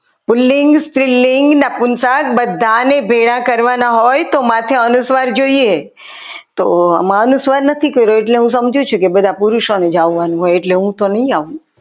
પુલ્લિંગ સ્ત્રીલિંગ નપુનશંખ બધાને ભેગા કરવાના હોય તો માથે અનુસ્વાર જોઈએ તો આમાં અનુસ્વાર નથી કર્યો એટલે હું સમજુ છું કે બધા પુરુષોને જવાનું હોય એટલે હું તો નહીં આવું.